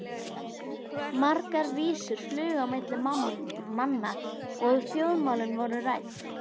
Margar vísur flugu á milli manna og þjóðmálin voru rædd.